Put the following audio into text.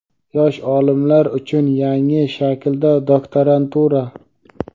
Yosh olimlar uchun yangi shaklda doktorantura.